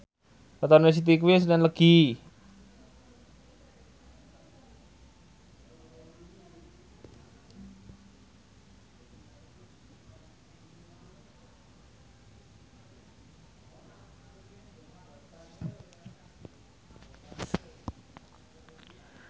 wetone Siti kuwi senen Legi